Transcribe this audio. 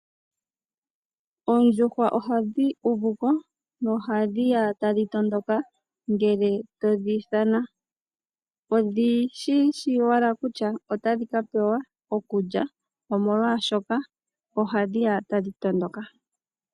Oondjuhwa ohadhi uvuko nohadhi ya tadhi tondoka ngele todhi ithana, odhishishi owala kutya otadhi ka pewa okulya , omolwaashoka ohadhi eya tadhi tondoka.